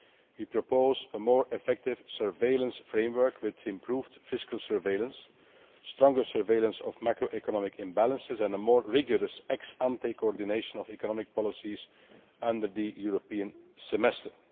We propose a more effective surveillance framework with improved fiscal surveillance, stronger surveillance of macro economic imbalances and a more rigorous ex ante coordination of economic policies under the European Semester'.